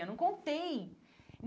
Eu não contei.